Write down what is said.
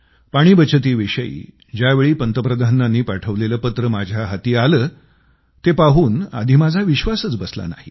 पाणी बचतीविषयी ज्यावेळी पंतप्रधानांनी पाठवलेले पत्र माझ्या हाती आलं ते पाहून आधी माझा विश्वासच बसला नाही